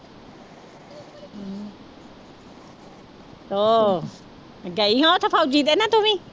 ਉਹ ਗਈ ਉਹ ਤੇ ਨਾ ਤੂੰ ਵੀ।